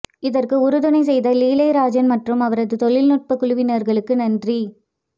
இதற்கு உறுதுணை செய்த லீலைராஜன் மற்றும் அவரது தொழில்நுட்பக் குழுவினர்களுக்கு நன்றி